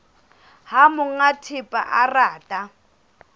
ha monga thepa a rata